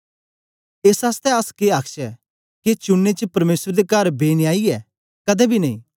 एस आसतै अस के आखचै के चुनने च परमेसर दे कर बेन्यायी ऐ कदें बी नेई